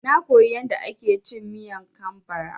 Na koya yanda ake cin Miang kam bara